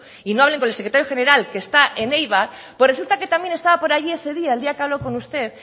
y no hablen con el secretario general que está en eibar pues resulta que también estaba por allí ese día el día que habló con usted